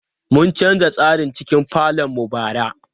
Mun canza tsarin cikin falon mu bara.